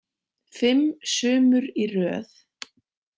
Fimm sumur í röð.